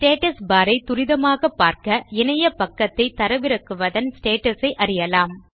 status bar ஐ துரிதமாக பார்க்க இணையபக்கத்தை தரவிறக்குவதன் ஸ்டேட்டஸ் ஐ அறியலாம்